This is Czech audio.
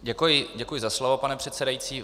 Děkuji za slovo, pane předsedající.